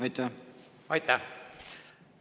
Aitäh!